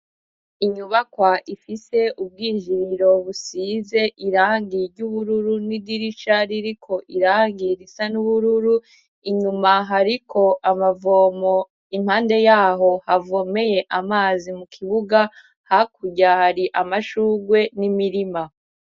Inyubakwa ifise ubwinjirirobusize irangie ry'ubururu n'idiricaririko irangiye irisa n'ubururu inyumaho, ariko amavomo impande yaho havomeye amazi mu kibuga hakuryari amashurwe n'imirima.